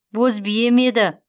боз бие ме еді